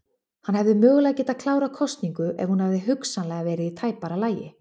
Hann hefði mögulega getað klárað kosningu en hún hefði hugsanlega verið í tæpara lagi.